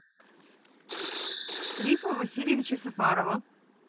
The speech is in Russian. рифа васильевича сафарова